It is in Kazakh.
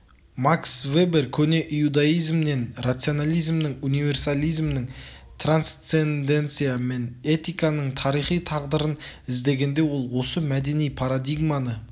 макс вебер көне иудаизмнен рационализмнің универсализмнің трансценденция мен этиканың тарихи тағдырын іздегенде ол осы мәдени парадигманы